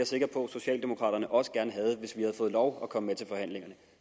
sikker på at socialdemokraterne også gerne havde hvis vi havde fået lov at komme med til forhandlingerne